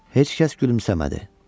Heç kəs gülümsəmədi.